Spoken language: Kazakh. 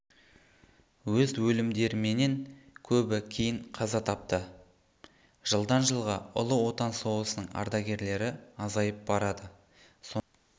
өз өлімдеріменен көбі кейін қаза тапты жылдан жылға ұлы отан соғысының ардагерлері азайып барады сондықтан